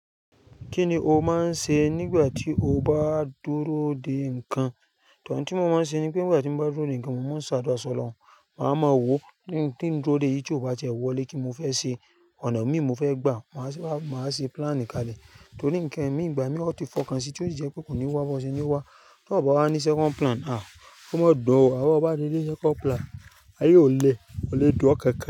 Kí ni o máa ń ṣe nígbà tí o bá dúró dè nǹkan? To in tí mo máa ń ṣe ni pé nígbà tí mo bá dúró nǹkan, mo máa ń sàdúà sọ̀ Ọlọ́hun. Màá mọ owó ni tin dúró dè yí, tí ó bá ti ẹ wọlé kíni mofẹ́ ṣe ọ̀nà mi mo fẹ́ gbà á, màá ṣe plan kalẹ̀. Torí nǹkan mi ìgbà mí ọ̀ tí fọ̀ ká sí tí ó sì jẹ́ pé kò ní wá, bọ́ ṣe ní wá. Tí ọ bá wá ní second plan a, ó máa dọ̀ ọ́. Àmọ́ o bá ti ní second plan, ayé ò le, kò le dùn ọ́ kankan.